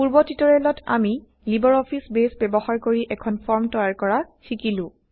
পূৰ্ব টিউটৰিয়েলত আমি লিবাৰ অফিচ বেইছ ব্যৱহাৰ কৰি160এখন ফৰ্ম তৈয়াৰ কৰা শিকিলো